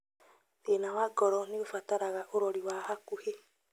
Thĩna wa ngoro nĩũbataraga ũrori wa hakuhĩ